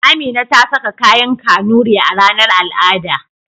Amina ta saka kayan Kanuri a ranar al'ada.